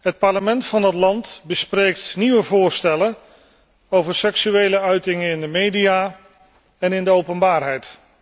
Het parlement van het land bespreekt nieuwe voorstellen over seksuele uitingen in de media en in de openbaarheid.